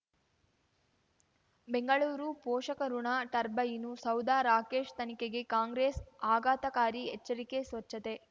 ಬೆಂಗಳೂರು ಪೋಷಕಋಣ ಟರ್ಬೈನು ಸೌಧ ರಾಕೇಶ್ ತನಿಖೆಗೆ ಕಾಂಗ್ರೆಸ್ ಆಘಾತಕಾರಿ ಎಚ್ಚರಿಕೆ ಸ್ವಚ್ಛತೆ